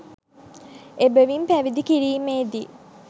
එබැවින් පැවිදි කිරීමේදී